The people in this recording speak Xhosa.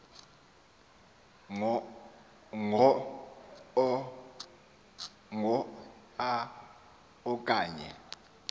ngo a okanye